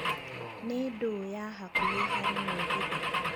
nī ndūū ya hakuhī harī mūgithi